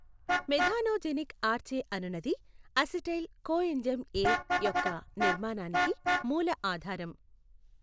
Methanogenic archaea అనునది acetyl coenzyme A యొక్క నిర్మాణానికి మూల ఆధారం.